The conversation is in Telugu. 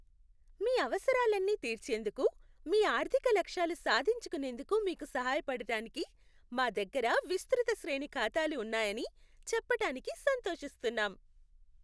మీ అవసరాలన్నీ తీర్చేందుకు, మీ ఆర్థిక లక్ష్యాలు సాధించుకునేందుకు మీకు సహాయపడటానికి, మా దగ్గర విస్తృత శ్రేణి ఖాతాలు ఉన్నాయని చెప్పటానికి సంతోషిస్తున్నాం.